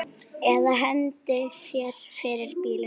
Eða hendi sér fyrir bíl.